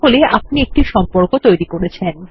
তাহলে আপনি একটি সম্পর্ক তৈরী করেছেন